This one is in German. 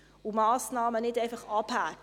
Er hakt Massnahmen nicht einfach ab.